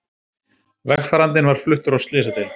Vegfarandinn var fluttur á slysadeild